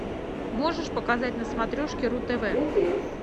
можешь показать на смотрешке ру тв